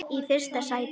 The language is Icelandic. í fyrsta sæti.